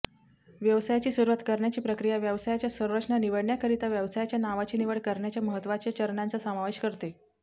व्यवसायाची सुरूवात करण्याची प्रक्रिया व्यवसायाच्या संरचना निवडण्याकरिता व्यवसायाच्या नावाची निवड करण्याच्या महत्वाच्या चरणांचा समावेश करते